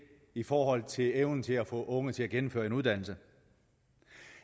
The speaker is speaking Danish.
i forhold til evnen til at få unge til at gennemføre en uddannelse